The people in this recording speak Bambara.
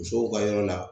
Musow ka yɔrɔ la